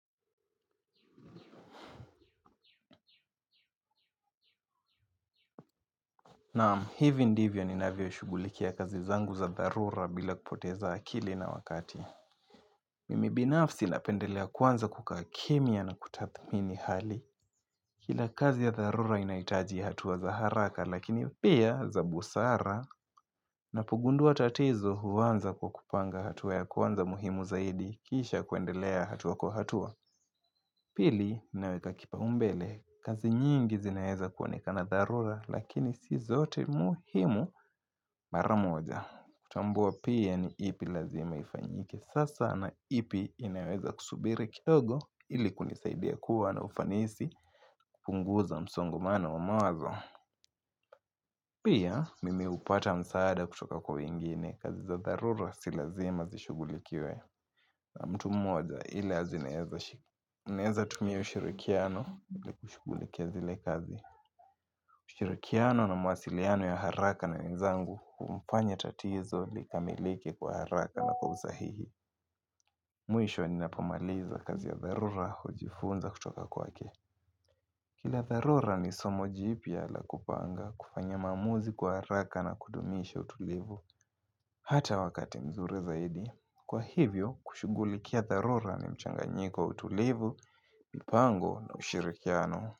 Naam, hivi ndivyo ninavyoshugulikia kazi zangu za dharura bila kupoteza akili na wakati. Mimi binafsi napendelea kwanza kukaa kimya na kutathmini hali. Kila kazi ya dharura inahitaji hatua za haraka lakini pia za busara napogundua tatizo huwaaza kwa kupanga hatua ya kwanza muhimu zaidi kisha kuendelea hatua kwa hatua. Pili, ninaweka kipaumbele, kazi nyingi zinaweza kuonekana dharura, lakini si zote muhimu mara moja. Kutambua pia ni ipi lazima ifanyike sasa na ipi inaweza kusubiri kidogo ili kunisaidia kuwa na ufanisi kupunguza msongomano wa mawazo. Pia, mimi hupata msaada kutoka kwa wengine, kazi za dharura si lazima zishughulikiwe. Na mtu moja ila zineeza shiku. Ninaeza tumia ushirikiano ili kushugulikia zile kazi. Ushirikiano na mawasiliano ya haraka na wenzangu humfanya tatizo likamilike kwa haraka na kwa usahihi. Mwisho ninapomaliza kazi ya dharura hujifunza kutoka kwake. Kila dharura ni somo jipya la kupanga kufanya maamuzi kwa haraka na kudumisha utulivu. Hata wakati mzuri zaidi. Kwa hivyo, kushugulikia dharura ni mchanganyiko wa utulivu, mipango na ushirikiano.